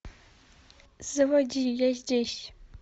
заводи я здесь